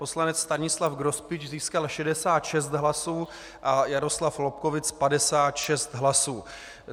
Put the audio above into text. Poslanec Stanislav Grospič získal 66 hlasů a Jaroslav Lobkowicz 56 hlasů.